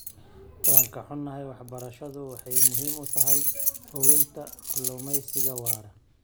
Waan ka xunnahay, waxbarashadu waxay muhiim u tahay hubinta kalluumeysiga waara.